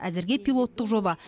әзірге пилоттық жоба